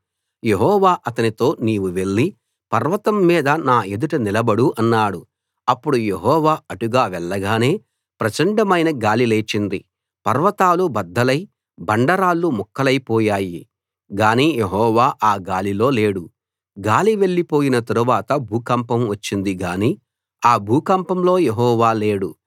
యెహోవా అతనితో నీవు వెళ్లి పర్వతం మీద నా ఎదుట నిలబడు అన్నాడు అప్పుడు యెహోవా అటుగా వెళ్ళగానే ప్రచండమైన గాలి లేచింది పర్వతాలు బద్దలై బండరాళ్ళు ముక్కలైపోయాయి గాని యెహోవా ఆ గాలిలో లేడు గాలి వెళ్లిపోయిన తరువాత భూకంపం వచ్చింది గాని ఆ భూకంపంలో యెహోవా లేడు